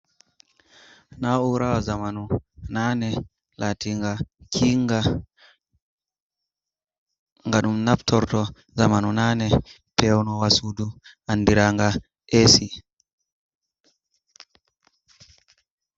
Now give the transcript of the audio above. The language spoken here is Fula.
Na urawa zamanu Nani, latinga kinga nga ɗum naftorto zamanu nani peonowa sudu andiranga esi.